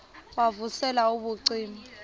wav usel ubucima